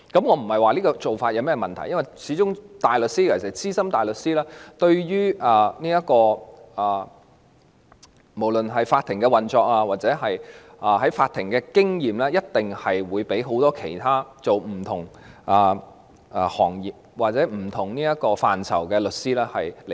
我不是說這個做法有問題，因為大律師——尤其是資深大律師——無論是對法庭運作的認識或在法庭的經驗，一定勝過很多從事其他行業或不同範疇的律師。